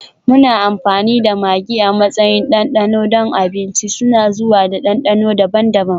Muna amfani da maggi a matsayin ɗanɗano don abinci, suna zuwa da dandano daban-daban.